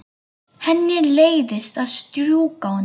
Henni leiðist að strjúka honum.